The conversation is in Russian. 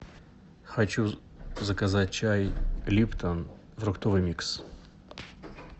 хочу заказать чай липтон фруктовый микс